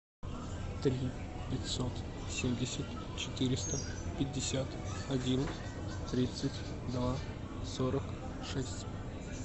три пятьсот семьдесят четыреста пятьдесят один тридцать два сорок шесть